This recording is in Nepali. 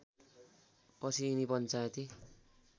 पछि यिनी पञ्चायती